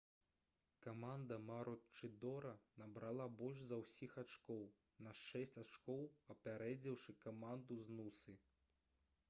каманда маручыдора набрала больш за ўсіх ачкоў на шэсць ачкоў апярэдзіўшы каманду з нусы